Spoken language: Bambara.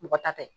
Mɔgɔ ta tɛ